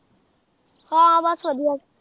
ਹਾਂ ਬਸ ਵਧੀਆ